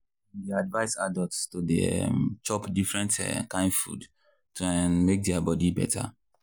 dem dey advise adults to dey um chop different um kain food to um make their body better.